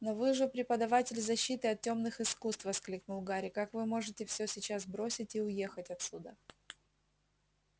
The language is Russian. но вы же преподаватель защиты от тёмных искусств воскликнул гарри как вы можете всё сейчас бросить и уехать отсюда